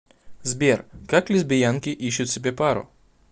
сбер как лесбиянки ищут себе пару